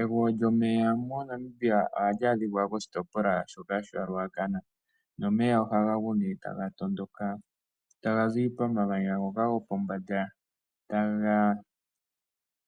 Egwo lyomeya moNamibia oha li adhikwa koshitopolwa shoka sha Ruacana. Nomeya oha ga gu ne ta ga tondoka, taga zi pomamanya ngoka go pombanda, taga